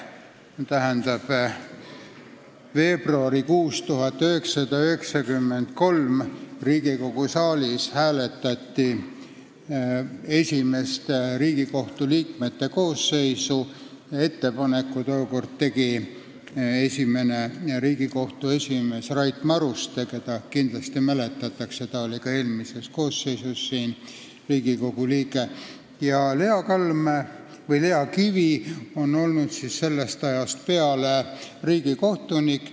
See tähendab, veebruaris 1993 hääletati Riigikogu saalis Riigikohtu esimest koosseisu – ettepaneku koosseisu kohta tegi tookord esimene Riigikohtu esimees Rait Maruste, keda siin kindlasti mäletatakse, ta oli ka Riigikogu eelmise koosseisu liige – ja Lea Kalm või Lea Kivi on olnud sellest ajast peale riigikohtunik.